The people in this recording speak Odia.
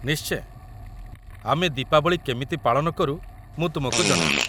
ନିଶ୍ଚୟ, ଆମେ ଦୀପାବଳି କେମିତି ପାଳନ କରୁ ମୁଁ ତୁମକୁ ଜଣାଇବି ।